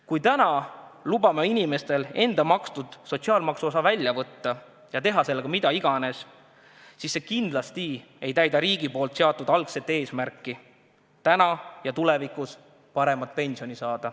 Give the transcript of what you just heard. Kui täna lubame inimestel nende enda makstud sotsiaalmaksuosa välja võtta ja teha sellega, mida iganes nad tahavad, siis see kindlasti ei täida riigi seatud algset eesmärki saada täna ja tulevikus paremat pensioni.